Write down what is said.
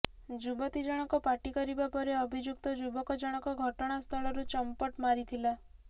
ଯୁବତୀ ଜଣକ ପାଟି କରିବା ପରେ ଅଭିଯୁକ୍ତ ଯୁବକ ଜଣକ ଘଟଣା ସ୍ଥଳରୁ ଚମ୍ପଟ ମାରିଥିଲା